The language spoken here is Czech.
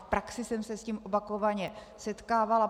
V praxi jsem se s tím opakovaně setkávala.